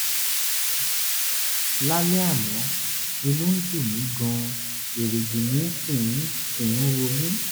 lálẹ́ àná inú ń dùn mí gan-an erìgì mi sì ń sì ń ro mí